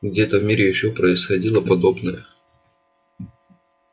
где-то в мире ещё происходило подобное